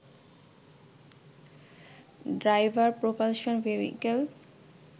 driver propulsion vehicle